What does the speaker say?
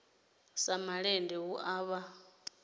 dza malende hu a vha